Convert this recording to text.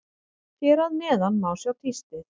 Hér að neðan má sjá tístið.